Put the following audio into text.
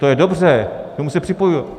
To je dobře, k tomu se připojuji.